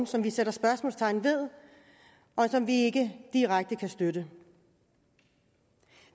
som vi sætter spørgsmålstegn ved og som vi ikke direkte kan støtte